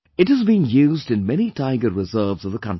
It is being used in many Tiger Reserves of the country